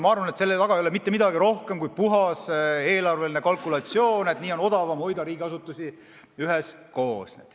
Ma arvan, et selle taga ei ole rohkem mitte midagi kui puhas eelarveline kalkulatsioon, on odavam hoida riigiasutusi üheskoos.